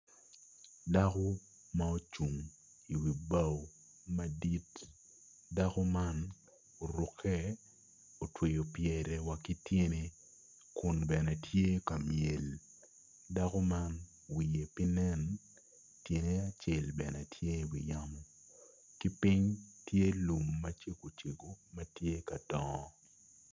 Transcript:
Dako ma ocung i wi bao madit dako man oruke otweyo pyere wa ki tyene kun bene tye ka myel daku man wiye pe nen tyene acel bene tye i wiyamo ki piny tye lum macego cego ma tye ka dongo